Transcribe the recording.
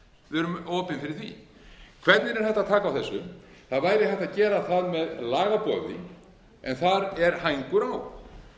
við erum opin fyrir því hvernig er hægt að taka á þessu það væri hægt að gera það með lagaboði en þar er hængur á